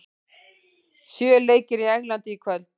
Sjö leikir í Englandi í kvöld